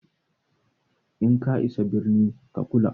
In ka isa birni ka kula!